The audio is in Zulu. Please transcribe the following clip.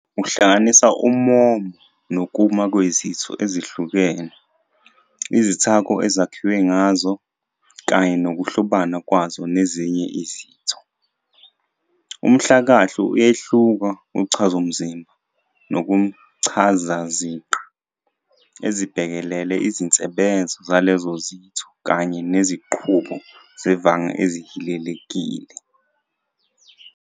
Uhlanganisa ummomo nokuma kwezitho ezihlukene, izithako ezakhiwe ngazo, kanye nokuhlobana kwazo nezinye izitho. Umhlakahlo uyehluka kuchazomzimba nakumchazaziqa, ezibhekelele izinsebenzo zalezo zitho kanye nezinqubo zevanga ezihilelekile.